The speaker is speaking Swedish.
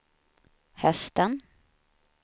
hösten